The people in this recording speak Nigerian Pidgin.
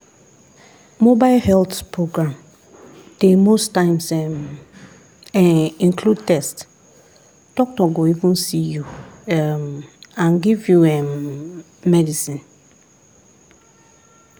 mobile health program dey most times [um][um]include test doctor go even see you um and give you um medicine.